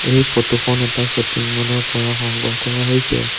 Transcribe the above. এই ফটো খন এটা শ্বপিং মল ৰ পৰা সংগ্ৰহ কৰা হৈছে।